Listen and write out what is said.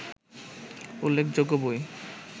উল্লেখযোগ্য বই